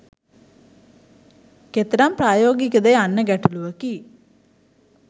කෙතරම් ප්‍රායෝගික ද යන්න ගැටලුවකි.